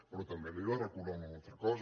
però també li he de recordar una altra cosa